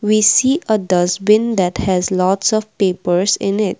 we see a dustbin that has lots of papers in it.